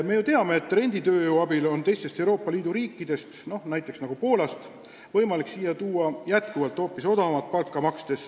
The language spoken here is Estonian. Me ju teame, et renditööjõudu kasutades on teistest Euroopa Liidu riikidest, näiteks Poolast võimalik siia tuua inimesi, kellele saab hoopis väikest palka maksta.